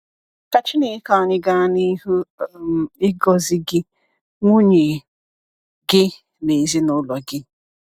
Ka Chineke anyị gaa n’ihu um ịgọzi gị, nwunye gị na ezinụlọ gị!